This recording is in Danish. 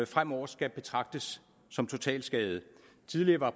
fremover skal betragtes som totalskadede tidligere var